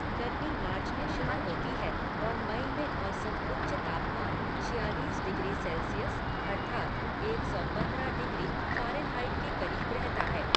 गर्मी मार्च में शुरू होती है और मई में औसत उच्च तापमान छियालीस डिग्री सेल्सियस अर्थात् एक सौ पंद्रह डिग्री फारेनहाइट के करीब रहता है।